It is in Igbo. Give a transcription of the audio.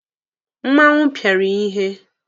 Mmanwụ pịara ya ihe.